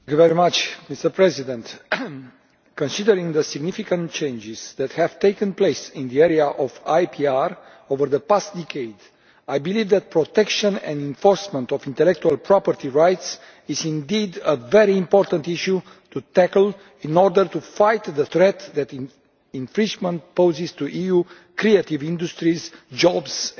Mr President, considering the significant changes that have taken place in the area of IPR over the past decade, I believe that protection and enforcement of intellectual property rights is indeed a very important issue to tackle in order to fight the threat that infringement poses to EU creative industries, jobs and growth.